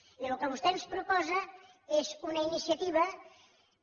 i el que vostè ens proposa és una iniciativa que